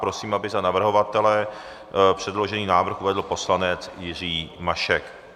Prosím, aby za navrhovatele předložený návrh uvedl poslanec Jiří Mašek.